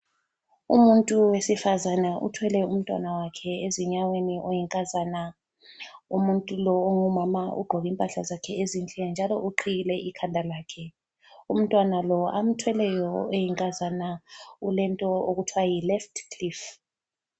Umuntu wesifazane uthwele umntwana wakhe ezinyaweni oyinkazana. Umuntu lo ongumama ugqoke impahla zakhe ezinhle njalo uqhiyile ikhanda lakhe. Umntwana lo amthweleyo oyinkazana ulento okuthwa yiLeft cliff.